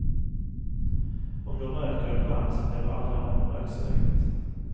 Om du röker ibland så blir du aldrig av med röksuget.